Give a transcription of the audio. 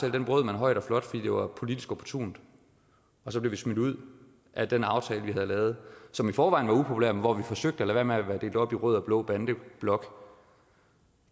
højt og flot fordi det var politisk opportunt og så blev vi smidt ud af den aftale vi havde lavet som i forvejen var upopulær men hvor vi forsøgte at lade være med at være delt op i rød og blå bandeblok